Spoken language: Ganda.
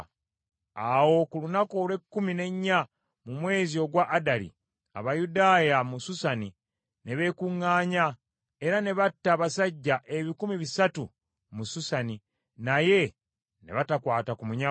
Awo ku lunaku olw’ekkumi n’enya mu mwezi ogwa Adali, Abayudaaya mu Susani ne beekuŋŋaanya, era ne batta abasajja ebikumi bisatu mu Susani, naye ne batakwata ku munyago.